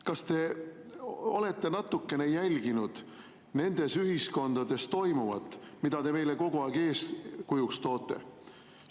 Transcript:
Kas te olete natukene jälginud, mis toimub nendes ühiskondades, mida te meile kogu aeg eeskujuks toote?